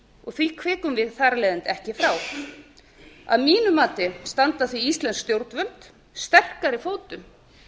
og því hvikum við þar af leiðandi ekki frá að mínu mati standa því íslensk stjórnvöld sterkari fótum